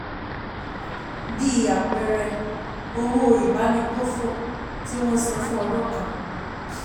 Bí àpẹẹrẹ, owó ìbánigbófò tí wọ́n san fún ọdún kan.